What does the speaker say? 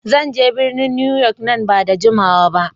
Zan je birnin Newyork nan ba da jimawa ba.